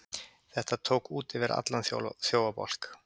Þetta tók út yfir allan þjófabálk!